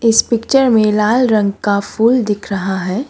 इस पिक्चर में लाल रंग का फूल दिख रहा है।